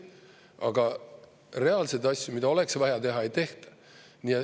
Aga reaalseid asju, mida oleks vaja teha, ei tehta.